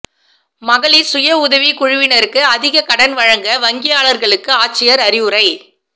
மகளிா் சுய உதவிக்குழுவினருக்கு அதிக கடன் வழங்க வங்கியாளா்களுக்கு ஆட்சியா் அறிவுரை